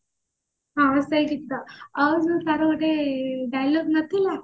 ହଁ ସେଇ ଗୀତ ଆଉ ଯୋଉ ତାର ଗୋଟେ dialogue ନଥିଲା